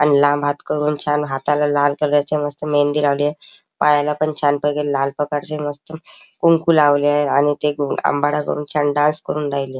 आणि लांब हात करून छान हाताला लाल कलर ची मस्त मेहंदी लावलिये पायाला पण छानपेकी लाल प्रकारची मस्त कुंकू लावले आहे आणि ते गोल अंबाडा करून छान डान्स करून राहिले.